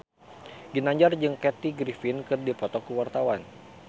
Ginanjar jeung Kathy Griffin keur dipoto ku wartawan